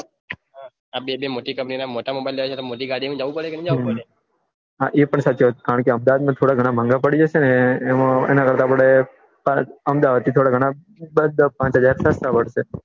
બે મોટા mobile લેવા છે તો મોટી ગાડી માં જવું પડે હમ હા એ પન સાચી વાત કારણકે અમદાવાદ માં થોડા ઘણા મોંઘા પડી એમાં અમદાવાદ થી દસપાંચહાજર ફરતા લાગશે